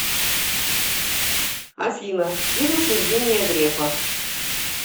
афина бизнес евгения грефа